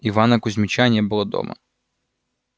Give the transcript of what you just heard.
ивана кузмича не было дома